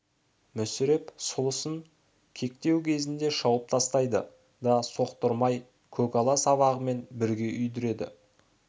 мүсіреп сұлысын кектеу кезінде шауып тастайды да соқтырмай көкала сабағымен бірге үйдіреді